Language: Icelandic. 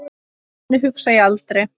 Þannig hugsa ég aldrei.